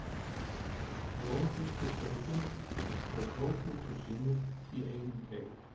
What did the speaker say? Jón fyllti staupin og tók út úr sínu í einum teyg.